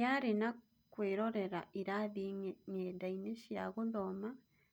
Yarĩ na kũĩrorera irathi ng'enda-inĩ cia gũthoma